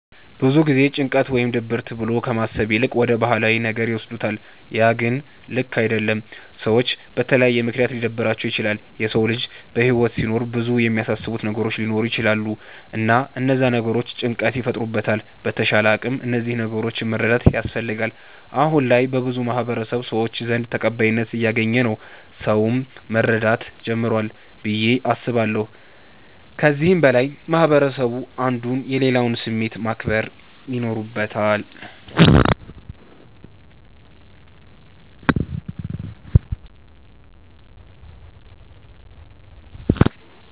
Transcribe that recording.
ብዙ ጊዜ ጭንቀት ወይም ድብርት ብሎ ከማሰብ ይልቅ ወደ ባህላዊ ነገር ይወስዱታለ ያ ግን ልክ አደለም። ሰዎች በተለያየ ምክንያት ሊደብራቸዉ ይችላል። የሰዉ ልጅ በህይወት ሲኖር ብዙ የሚያሳስቡት ነገሮች ሊኖሩ ይቸላሉ እና እነዛ ነገሮች ጭንቀት ይፈጥሩበታል በተቻለ አቅም እነዚህን ነገሮች መረዳት ያስፈልጋል። አሁነ ላይ በብዙ የማህበረሰቡ ሰዎች ዘንድ ተቀባይነት እያገኝ ነዉ ሰዉም መረዳት ጀምሯል ብዬ አስባለሁ። ከዚህም በላይ ማህበረስቡ አንዱ የሌላዉን ስሜት ማክበር ይኖርበታል።